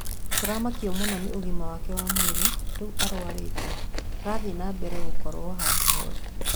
Tũramakio mũno ni ũgima wake wa mwĩrĩ rĩu arwarĩte arathiĩ na mbele gũkorwo handu horu